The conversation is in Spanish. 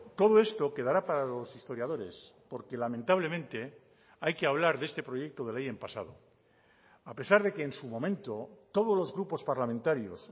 todo esto quedará para los historiadores porque lamentablemente hay que hablar de este proyecto de ley en pasado a pesar de que en su momento todos los grupos parlamentarios